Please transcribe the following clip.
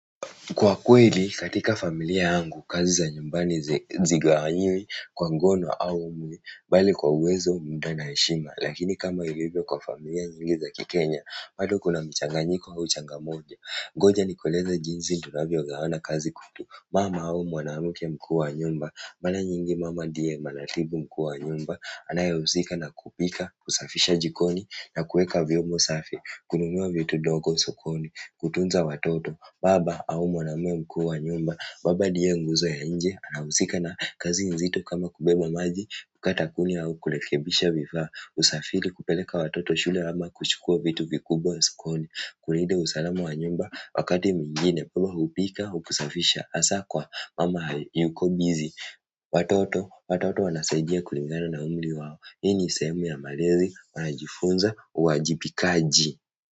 Kwa kweli, katika familia yangu, kazi za nyumbani hazigawanyiwi, kwa ngono au mwili, bali kwa uwezo muda na heshima. Lakini kama ilivyo kwa familia nyingi za kikenya, bado kuna mchanganyiko au changa moja. Ngoja nikueleze jinsi, tunavyo gawana kazi kwetu. Mama au mwanamke mkuu wa nyumba, mara nyingi mama ndiye manatibu mkuu wa nyumba, anayehusika na kupika, kusafisha jikoni, na kuweka vyombo safi, kununua vitu ndogo sokoni, kutunza watoto. Baba, au mwanaumwe mkuu wa nyumba baba ndiye nguzo ya nje anahusika na kazi nzito kama kubeba maji kukata kuni au kurekebisha vifaa usafiri kupeleka watoto shule ama kuchukua vitu vikubwa sikoni kulinda usalama wa nyumba wakati mwingine, baba hupika, huku safisha hasa kwa, mama yuko bizi watoto, watoto wanasaidia kulingana na umri wao hii ni sehemu ya malezi, wanajifunza, uajibikaji.